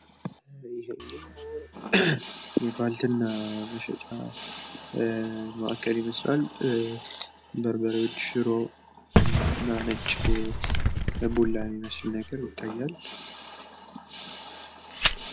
የባልትና መሸጫ ማዕከል ይመስላል ።በርበሬዋች፣ ሽሮ እና ነጭ ቡላ የሚመስል ነገር ይታያል ።